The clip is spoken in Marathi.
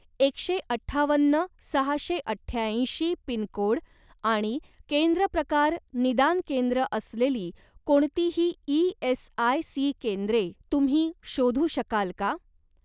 एकशे अठ्ठावन्न सहाशे अठ्याऐंशी पिनकोड आणि केंद्र प्रकार निदान केंद्र असलेली कोणतीही ई.एस.आय.सी. केंद्रे तुम्ही शोधू शकाल का?